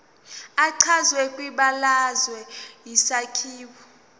echazwe kwibalazwe isakhiwo